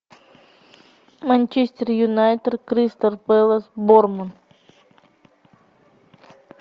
манчестер юнайтед кристал пэлас борнмут